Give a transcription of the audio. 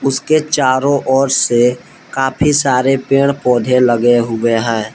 इसके चारों ओर से काफी सारे पेड़ पौधे लगे हुए हैं।